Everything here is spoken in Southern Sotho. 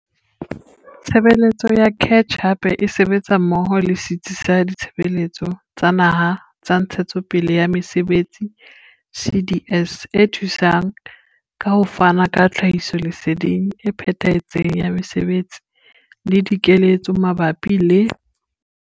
Tshebeletso ya CACH hape e sebetsa mmoho le setsi sa Ditshebeletso tsa Naha tsa Ntshetsepele ya Mesebetsi, CDS, e thusang ka ho fana ka tlhahisoleseding e phethahetseng ya mesebetsi le dikeletso mabapi le.